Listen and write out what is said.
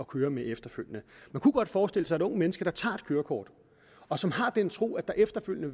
køre med efterfølgende man kunne godt forestille sig et ungt menneske der tager et kørekort og som har den tro at der efterfølgende